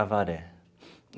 Avaré.